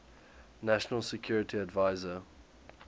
national security advisor